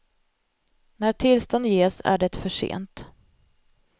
När tillstånd ges är det för sent.